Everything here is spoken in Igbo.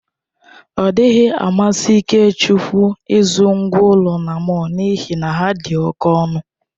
Ọ dịghị amasị Ikechukwu ịzụrụ ngwá ụlọ na mọll n'ihi na ha dị oke ọnụ.